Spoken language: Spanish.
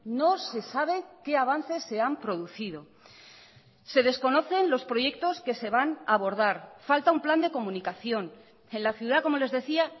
no se sabe qué avances se han producido se desconocen los proyectos que se van a abordar falta un plan de comunicación en la ciudad como les decía